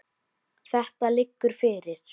Þetta liggur fyrir.